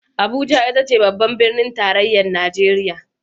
Abuja ita ce babbar Birnin Tarayyar Najeriya